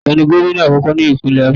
Ta ni gomina akoko ni ipinlẹ Abia?